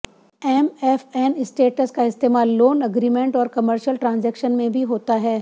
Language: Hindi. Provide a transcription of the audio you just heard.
एमएफएन स्टेटस का इस्तेमाल लोन अग्रीमेंट और कमर्शल ट्रांजैक्शन में भी होता है